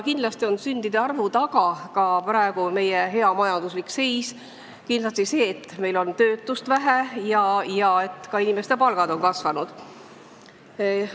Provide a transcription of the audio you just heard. Kindlasti on sündide arvu kasvu taga ka meie praegune hea majanduslik seis, kindlasti see, et töötust on vähe ja ka inimeste palgad on kasvanud.